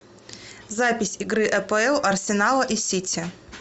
запись игры апл арсенала и сити